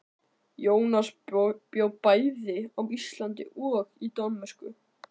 Jónas bjó bæði á Íslandi og í Danmörku.